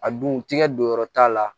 A dun tigɛ don yɔrɔ t'a la